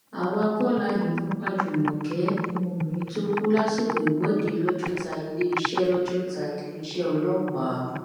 àwa kọ la yìnbọn pa jùmọ̀kẹ́ ọmọbìnrin tó kù lásìkò ìwọde lọjọta iléeṣẹ lọjọta iléeṣẹ ọlọpàá